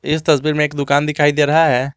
इस तस्वीर में एक दुकान दिखाई दे रहा है।